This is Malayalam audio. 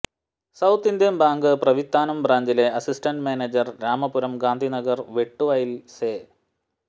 സൌത്ത് ഇന്ത്യൻ ബാങ്ക് പ്രവിത്താനം ബ്രാഞ്ചിലെ അസിസ്റ്റന്റ് മാനേജർ രാമപുരം ഗാന്ധിനഗർ വെട്ടുവയലിൽ സെ